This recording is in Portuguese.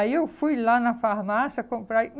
Aí, eu fui lá na farmácia comprar.